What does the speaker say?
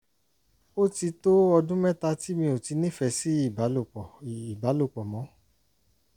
ó ti tó ọdún mẹ́ta tí mi ò ti nífẹ̀ẹ́ sí ìbálòpọ̀ ìbálòpọ̀ mọ́